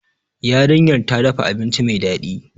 Yarinyar ta dafa abinci mai dadi